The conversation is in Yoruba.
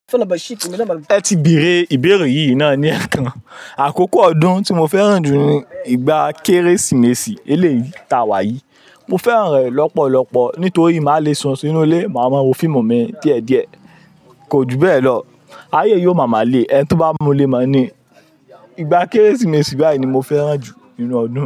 Ẹ ti bèèrè ìbéèrè yìí náà ni ẹ̀ẹ̀kan. Àkókò ọdún tí mo fẹ́ràn jù ni ìgbà Kérésìmesì eléèta wà yìí. Mo fẹ́ràn rẹ lọ́pọ̀lọpọ̀ nítorí màá le sún sínú ilé, màá mọ wò fiimu mi díẹ̀díẹ̀. Kò ju bẹ́ẹ̀ lọ, ayé yiò má mà le ẹni tí ó bá mú lé ma ni. Ìgbà Kérésìmesì báyìí ni mo fẹ́ràn jù nínú ọdún.